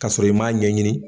Kasɔrɔ i m'a ɲɛɲini